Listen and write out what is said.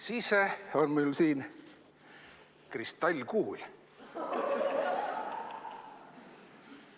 Siis on mul siin kristallkuul.